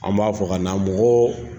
An b'a fɔ ka na mɔgɔ